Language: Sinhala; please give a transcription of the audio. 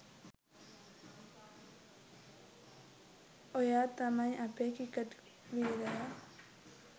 ඔයා තමයි අපේ ක්‍රික‍ට් වීරයා